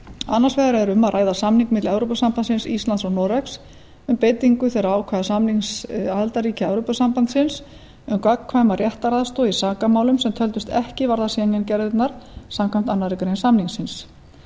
annars vegar er um að ræða samning milli evrópusambandsins íslands og noregs um beitingu þeirra ákvæða samnings aðildarríkja evrópusambandsins um gagnkvæma réttaraðstoð í sakamálum sem töldust ekki varða schengen gerðirnar samkvæmt annarri grein samningsins